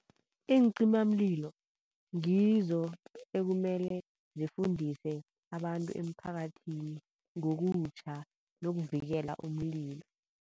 Iincimamlilo ngizo ekumele zifundise abantu emphakathini ngokutjha nokuvikela umlilo.